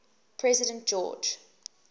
president george